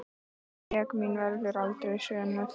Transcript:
Sekt mín verður aldrei sönnuð.